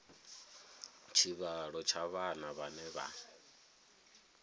tshivhalo tsha vhana vhane vha